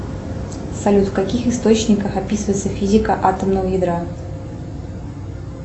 салют в каких источниках описывается физика атомного ядра